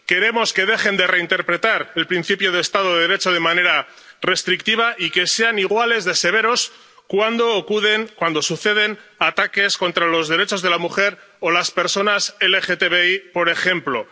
Queremos que dejen de reinterpretar el principio del Estado de Derecho de manera restrictiva y que sean igual de severos cuando suceden ataques contra los derechos de la mujer o las personas LGTBI, por ejemplo.